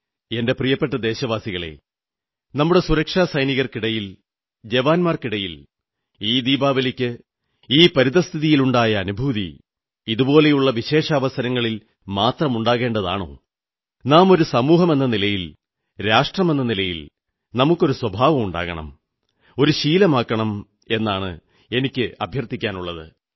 എന്റെ പ്രിയപ്പെട്ട ദേശവാസികളേ നമ്മുടെ സുരക്ഷാ സൈനികർക്കിടയിൽ ജവാന്മാർക്കിടയിൽ ഈ ദീപാവലിക്ക് ഈ പരിതഃസ്ഥിതിയിലുണ്ടായ അനുഭൂതി ഇതുപോലുള്ള വിശേഷാവസരങ്ങളിൽ മാത്രമുണ്ടാകേണ്ടതാണോ നാം ഒരു സമൂഹമെന്ന നിലയിൽ രാഷ്ട്രമെന്ന നിലയിൽ നമുക്കൊരു സ്വഭാവമുണ്ടാക്കണം ഒരു ശീലമാക്കണം എന്നാണ് എനിക്ക് അഭ്യർഥിക്കാനുള്ളത്